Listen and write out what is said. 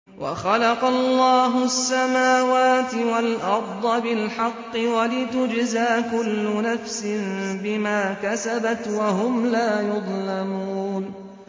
وَخَلَقَ اللَّهُ السَّمَاوَاتِ وَالْأَرْضَ بِالْحَقِّ وَلِتُجْزَىٰ كُلُّ نَفْسٍ بِمَا كَسَبَتْ وَهُمْ لَا يُظْلَمُونَ